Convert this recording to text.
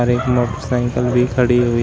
एक मोटरसाइकिल भी खड़ी हुई--